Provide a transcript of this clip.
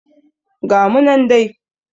Ga mu nan dai